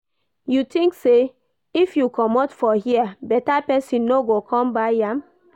You think say if you commot for here better person no go come buy am?